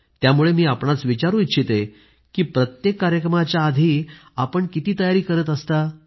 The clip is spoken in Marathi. त्यामुळे मी आपल्याला विचारू इच्छिते की प्रत्येक कार्यक्रमाच्या आधी आपण किती तयारी करीत असता